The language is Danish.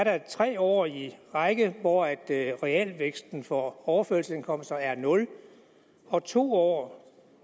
er tre år i træk hvor realvæksten for overførselsindkomster er nul og to år